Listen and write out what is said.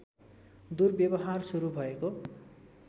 दुर्व्यवहार सुरु भएको